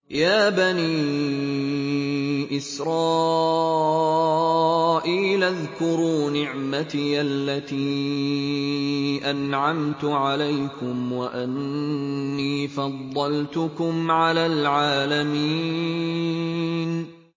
يَا بَنِي إِسْرَائِيلَ اذْكُرُوا نِعْمَتِيَ الَّتِي أَنْعَمْتُ عَلَيْكُمْ وَأَنِّي فَضَّلْتُكُمْ عَلَى الْعَالَمِينَ